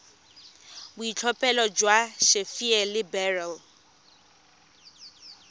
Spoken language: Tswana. boitlhophelo jwa sapphire le beryl